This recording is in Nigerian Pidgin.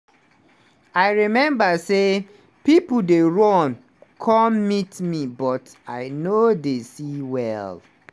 "i remember say pipo dey run come meet me but i no dey see well.